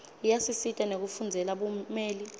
iyasisita nekufundzela bumeli